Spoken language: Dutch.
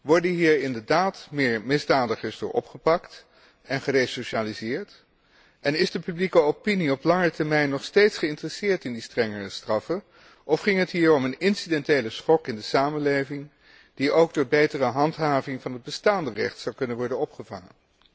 Worden hier inderdaad meer misdadigers door opgepakt en geresocialiseerd, en is de publieke opinie op langere termijn nog steeds geïnteresseerd in die strengere straffen, of ging het hier om een incidentele schok in de samenleving, die ook door betere handhaving van het bestaande recht zou kunnen worden opgevangen?